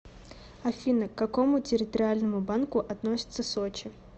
афина к какому территориальному банку относится сочи